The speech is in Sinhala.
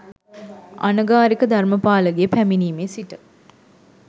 අනගාරික ධර්මපාලගේ පැමිණීමේ සිට